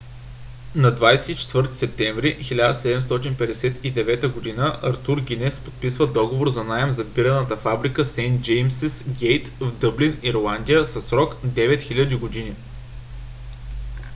на 24 септември 1759 г. артур гинес подписва договор за наем за бирената фабрика сейнт джеймсис гейт в дъблин ирландия със срок 9000 години